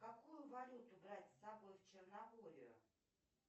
какую валюту брать с собой в черногорию